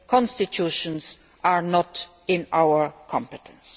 Constitutions are not within our competence.